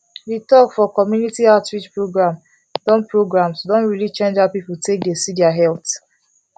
the talk for community outreach programs don programs don really change how people take dey see their health